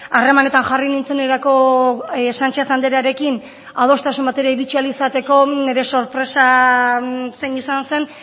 harremanetan jarri nintzenerako sánchez andrearekin adostasun batera iritsi ahal izateko nire sorpresa zein izan zen